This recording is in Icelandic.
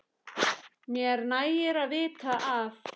Mér nægir að vita af